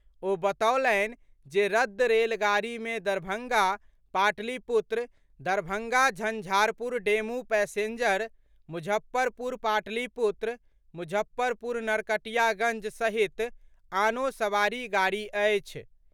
ओ बतओलनि जे रद्द रेलगाड़ी मे दरभंगा पाटलिपुत्र, दरभंगा झंझारपुर डेमू पैसेंजर, मुजफ्फरपुर पाटलिपुत्र, मुजफ्फरपुर नरकटियागञ्ज सहित आनो सवारी गाड़ी अछि।